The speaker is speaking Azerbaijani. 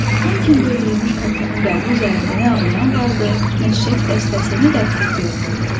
Tonkində öldürülmüş kapitanın qəbri üzərində nə ağlayan vardı, nə çiçək dəstəsi, nə də əklil görünürdü.